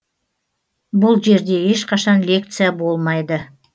бұл жерде ешқашан лекция болмайды